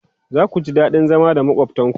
zaku ji daɗin zama da makwaftan ku